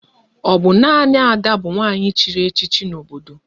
Ọ bụ nanị Ada bụ nwanyị chịrị echichi n'obodo unu?